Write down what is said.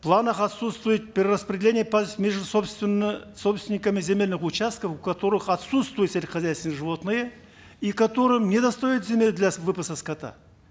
в планах отсутствует перераспределение между собственниками земельных участков у которых отсутствуют сельскохозяйственные животные и которым не достает земель для выпаса скота